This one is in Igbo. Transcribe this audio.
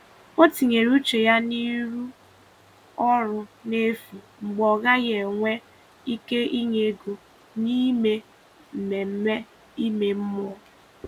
Ọ̀ tìnyere uche ya n’ịrụ ọrụ n’efu mgbe ọ̀ gaghị enwe ike inye ego n’ime mmemme ime mmụọ.